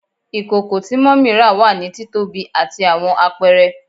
Ikoko ti mummy ra wa ni titobi ati awọn apẹrẹ